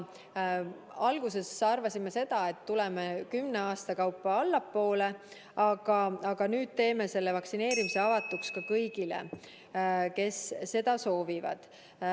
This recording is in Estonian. Alguses arvasime, et tuleme kümne aasta kaupa allapoole, aga nüüd teeme vaktsineerimise avatuks kõigile, kes seda soovivad.